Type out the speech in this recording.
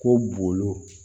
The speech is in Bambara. Ko bulu